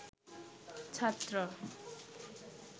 ছাত্র